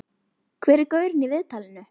Hver er gaurinn í viðtalinu?